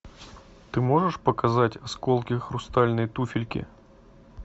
ты можешь показать осколки хрустальной туфельки